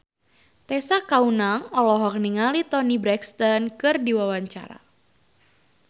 Tessa Kaunang olohok ningali Toni Brexton keur diwawancara